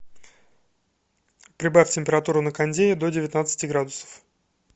прибавь температуру на кондее до девятнадцати градусов